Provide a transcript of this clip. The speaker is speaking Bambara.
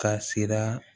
Ka sira